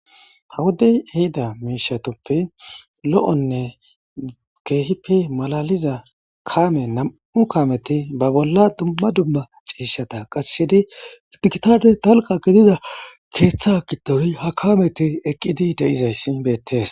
Ha wodey ehida miishatuppe lo'onne keehippe malaliza kaame nam'u kaameti ba bolla dumma dumma ciishata kashshidi idikitade dalgga gidida keeththa giddon ha kaameti eqqidi de'izayssin beettees.